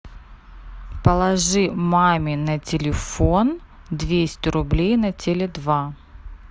положи маме на телефон двести рублей на теле два